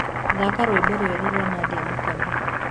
thaka rwĩmbo rweru rwa nadia mũkamĩ